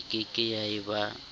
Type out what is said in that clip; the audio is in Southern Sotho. e keke ya e ba